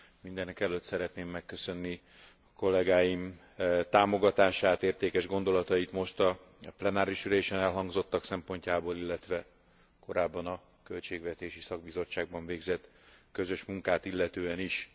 Mindenekelőtt szeretném megköszönni kollégáim támogatását, értékes gondolatait most a plenáris ülésen elhangzottak szempontjából, illetve korábban a költségvetési szakbizottságban végzett közös munkát illetően is.